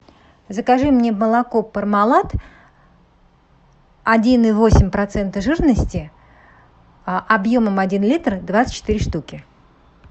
закажи мне молоко пармалат один и восемь процента жирности объемом один литр двадцать четыре штуки